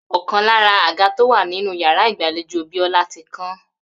Ò̩kan lára àga tó wà nínú yàrá ìgbàlejò Bió̩lá ti kán